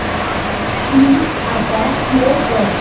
please आता play कर